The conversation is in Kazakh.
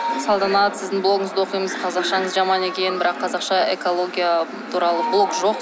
салтанат сіздің блогыңызды оқимыз қазақшаңыз жаман екен бірақ қазақша экология туралы блог жок